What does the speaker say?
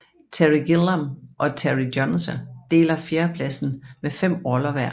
Terry Gilliam og Terry Jones deler fjerdepladsen med 5 roller hver